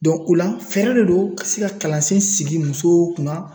Dɔn o la fɛɛrɛ de don ka se ka kalansen sigi musow kunna